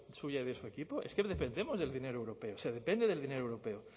suya y de su equipo es que dependemos del dinero europeo se depende del dinero europeo